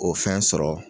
O fɛn sɔrɔ